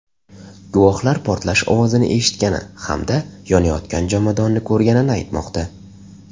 Guvohlar portlash ovozini eshitgani hamda yonayotgan jomadonni ko‘rganini aytmoqda.